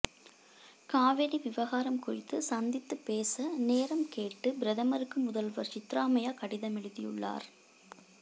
காவிரி விவகாரம் குறித்து சந்தித்து பேச நேரம் கேட்டு பிரதமருக்கு முதல்வர் சித்தராமையா கடிதம் எழுதியுள்ளார்